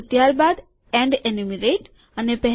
આ બે અને ત્યારબાદ એન્ડ એન્યુમરેટ છેવટની ગણતરી